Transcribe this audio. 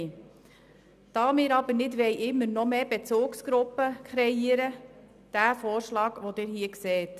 Da wir aber nicht noch mehr Bezugsgruppen kreieren wollen, unterbreiten wir den Vorschlag, den Sie hier sehen.